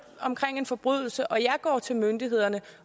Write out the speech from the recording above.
omkring en forbrydelse og jeg går til myndighederne